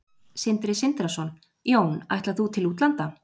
Sindri Sindrason: Jón, ætlar þú til útlanda?